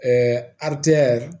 aritigɛ